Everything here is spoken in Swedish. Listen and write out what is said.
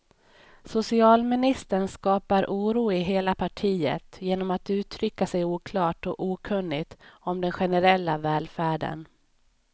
Socialministern skapar oro i hela partiet genom att uttrycka sig oklart och okunnigt om den generella välfärden.